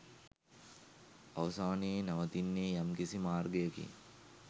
අවසානයේ නවතින්නේ යම්කිසි මාර්ගයකින්